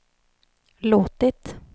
låtit